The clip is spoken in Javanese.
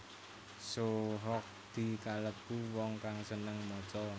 Soe Hok Gie kalêbu wong kang sênêng maca